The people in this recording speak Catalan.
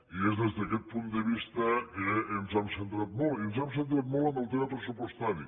i és des d’aquest punt de vista que ens hem centrat molt i ens hem centrat molt en el tema pressupostari